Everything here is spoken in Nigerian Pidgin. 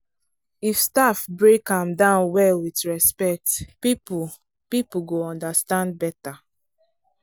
if staff break am down well with respect people people go understand better.